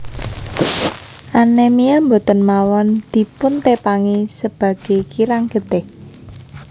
Anemia boten mawon dipun tepangi sebage kirang getih